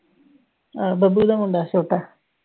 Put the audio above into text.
ਅਹ ਬੱਬੂ ਦਾ ਮੁੰਡਾ ਛੋਟਾ।